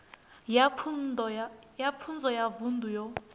ya pfunzo ya vunḓu yo